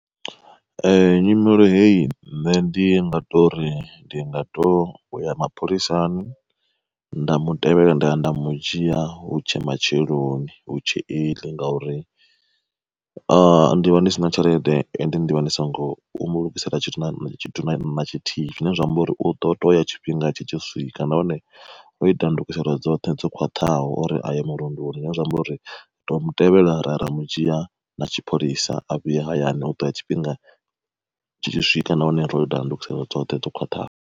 Ee nyimelo heyi nṋe ndi nga tori ndi nga to ya mapholisani, nda mu tevhela nda ya nda mu dzhia hutshe matsheloni hutshe early, ngauri ndi vha ndi si na tshelede ende ndi vha ndi songo u mulugisela tshithu na tshithu na tshithihi. Zwine zwa amba uri uḓo toya tshifhinga tshi tshi swika nahone o ita ndugiselo dzoṱhe dzo khwaṱhaho uri aye murunduni zwine zwa amba uri u to mutevhela raya ra mudzhia na tshipholisa a vhuya hayani u ḓo ya tshifhinga tshi tshi swika nahone ro ita ndungiselo dzoṱhe dzo khwaṱhaho